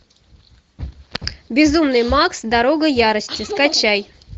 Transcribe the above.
безумный макс дорога ярости скачай